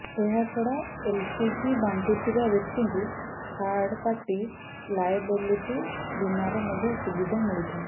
ଏହା ଛଡ଼ା ଏଲ୍ପିଜି ବାଣ୍ଟୁଥିବା ବ୍ୟକ୍ତିଙ୍କୁ ଥାର୍ଡ଼ପାର୍ଟି ଲାଏବିଲିଟି ବୀମାର ମଧ୍ୟ ସୁବିଧା ମିଳିଥାଏ